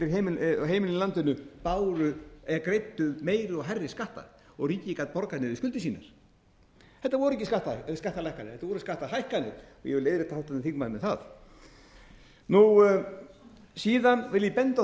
heimilin í landinu greiddu meiri og hærri skatta og ríkið gat borgað niður skuldir síðan þetta voru ekki skattalækkanir þetta voru skattahækkanir ég vil leiðrétta háttvirtan þingmann með það síðan vil ég benda á